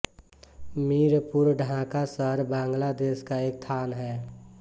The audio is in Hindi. मीरपुर ढाका शहर बांग्लादेश का एक थान है